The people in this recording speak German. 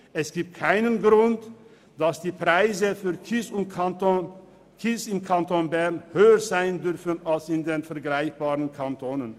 Es gibt keinen Grund dafür, dass die Preise für Kies im Kanton Bern höher sein dürfen als in vergleichbaren Kantonen.